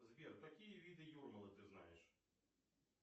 сбер какие виды юрмалы ты знаешь